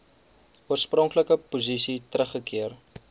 oorspronklike posisie teruggekeer